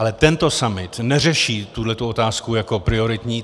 Ale tento summit neřeší tuto otázku jako prioritní.